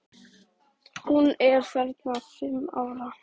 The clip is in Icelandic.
Hún er þarna fimm ára.